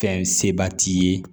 Fɛn seba t'i ye